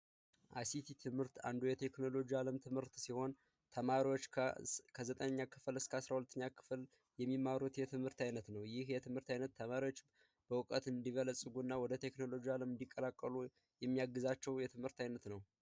አይሲቲ ከቴክኖሎጂ ትምህርቶች አንዱ ሲሆን ተማሪዎች በሃይስኩል እስከ 12 ኛ ክፍል የሚማሩት የትምህርት ዓይነት ነው ይሄ ትምህርት ዓይነት ተማሪዎች በእውቀት እንዲበለጽጉና ወደ ቴክኖሎጂው ዓለም እንዲቀላቀሉ የሚያግዛቸው የትምህርት ዓይነት ነው።